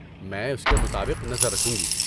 میں اس کے مطابق نظر رکھوں گی۔